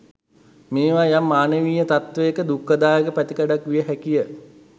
මේවා යම් මානවීය තත්ත්වයක දුක්ඛදායක පැතිකඩක් විය හැකිය.